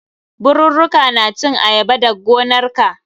Birurruka na cin ayaba dag gonarka.